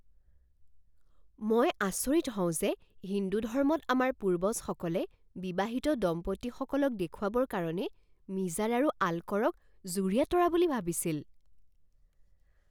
মই আচৰিত হওঁ যে হিন্দু ধৰ্মত আমাৰ পূৰ্বজসকলে বিবাহিত দম্পতীসকলক দেখুৱাবৰ কাৰণে মিজাৰ আৰু আলক'ৰক যুৰীয়া তৰা বুলি ভাবিছিল।